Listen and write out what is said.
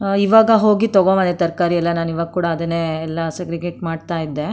ಇವಾಗ ಹೋಗಿ ತಗೋ ಬಂದೆ ತರಕಾರಿ ಎಲ್ಲ ನಾನು ಇವಾಗ ಕೂಡ ಅದನ್ನೇ ಎಲ್ಲ ಸೇಗ್ರೆಗೇಟ್ ಮಾಡ್ತಾ ಇದ್ದೆ.